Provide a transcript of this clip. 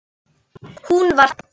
Hún var falleg.